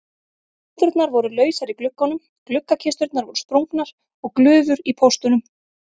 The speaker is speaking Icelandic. Rúðurnar voru lausar í gluggunum, gluggakisturnar voru sprungnar og glufur í póstunum.